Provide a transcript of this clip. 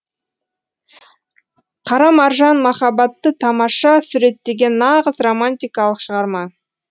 қара маржан махаббатты тамаша суреттеген нағыз романтикалық шығарма